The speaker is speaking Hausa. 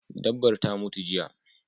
Dabbar ta mutu jiya